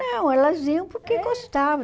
Não, elas iam porque gostavam.